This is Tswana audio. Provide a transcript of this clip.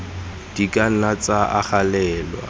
di ka nna tsa agelelwa